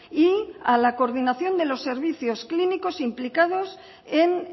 y a la coordinación de los servicios clínicos implicados en